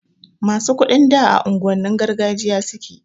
Masu kuɗin da a unguwannin gargajiya suke